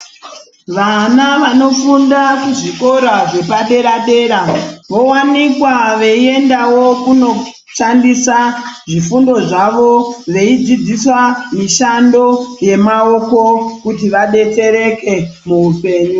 Vana vanofunda ku zvikora zvepa dera dera vo wanikwa veyi endawo kuno shandisa zvifundo zvavo vei dzidzisa mishando ye maoko kuti vadetsereke mu upenyu.